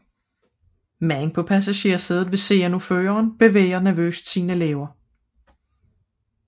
Manden på passagersædet ved siden af føreren bevæger nervøst sine læber